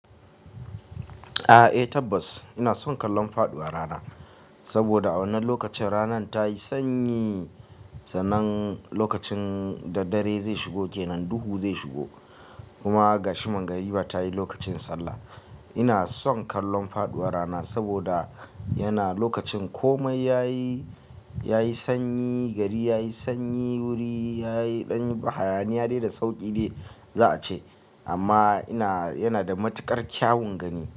A'a, eh tabbas ina son kallon faduwar rana saboda a wannan lokacin rana ta yi sanyi. Sannan lokacin da dare zai shigo kenan, duhu zai shigo. Kuma gashi mangariba tayi, lokacin sallah ina son kallon faduwar rana saboda yana-- lokacin komai yayi, yayi sanyi, gari yayi sanyi, wuri yayi ɗan-- hayaniya dai da sauƙi dai za'a ce amma ina yana da matuƙar kyawun gani.